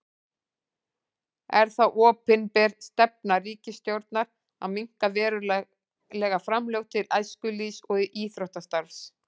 Er það opinber stefna ríkisstjórnar að minnka verulega framlög til æskulýðs- og íþróttastarfs?